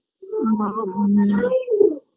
মা উমম্